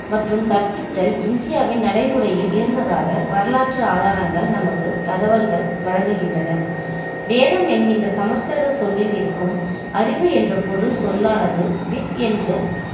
மற்றும் கற்பித்தல் இந்தியாவின் நடைமுறையில் இருந்ததாக வரலாற்று ஆதாரங்கள் நமக்கு தகவல்கள் வழங்குகின்றன வேதம் என்கின்ற சமஸ்கிருத சொல்லில் இருக்கும் அறிவு என்ற பொருள் சொல்லானது with என்று